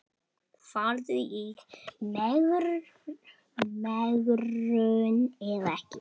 Farðu í megrun eða ekki.